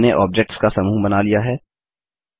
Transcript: हमने ऑब्जेक्ट्स का समूह बना लिया है